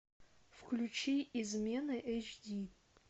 включи измены эйч ди